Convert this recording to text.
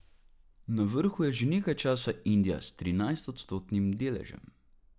Na vrhu je že nekaj časa Indija s trinajstodstotnim deležem.